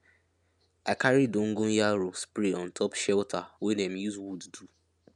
i carry dogonyaro spray on top shelter wey dem use wood do